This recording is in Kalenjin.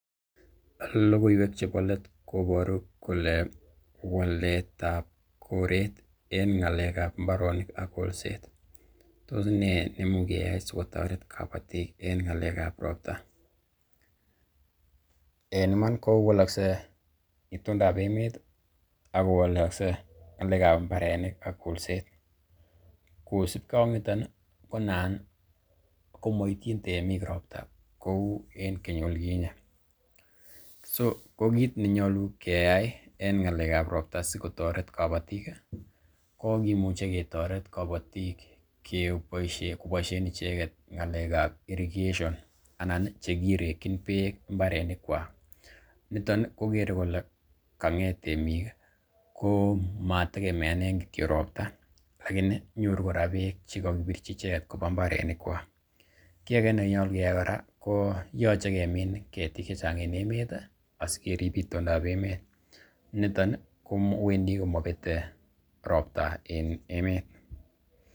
Lokowiek chepo let koporu kole walet ap koret ing ngaleka ap mbaronik ak kolset tos ne nemu keyai sikotaret kapatik ing ngalek ap ropta? En iman kowalkse itondab emet agowolokse ngalekab mbarenik ak kolset. Kosibge ak niton konan komoityin temik ropta kou keny olikinye. So ko kiit nenyolu keyai en ng'alek ab ropta sikotoret kobotik ko kimuche ketoret kobotik koboisien icheget ngalekab irrigation anan i che kirekin beek mbarenikwak. Niton ii kokere kole kang'et temik komatekemeanen kityo ropta, lakini nyoru kora beek che kogibirchi icheget koba mbarenik kwak. Kiy age nenyolu keyai kora ko yoche kemin ketik che chang en emet asikerib itondab emet, niton kowendi komobete ropta en emet.